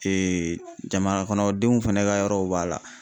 jamana kɔnɔdenw fɛnɛ ka yɔrɔw b'a la